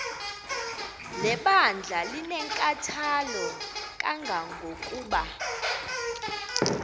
lebandla linenkathalo kangangokuba